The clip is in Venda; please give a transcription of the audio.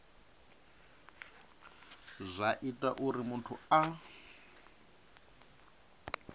zwa ita uri muthu a